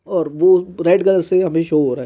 और वो red colour से सो हो रहा है।